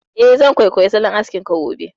Eh, zan kwaikwayi salon askin ka gobe